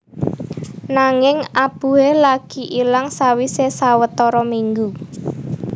Nanging abuhe lagi ilang sawise sawetara minggu